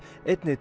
einnig